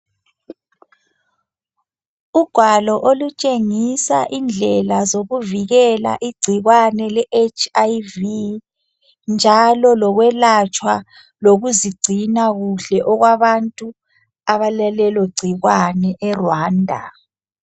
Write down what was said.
Ugwalo okutshengisa indlela zokuvikela igcikwane le HIV njalo lokwelatshwa lokuzigcina kuhle okwabantu abalalelo gcikwane eRwanda .